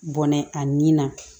Bɔnɛ a nin na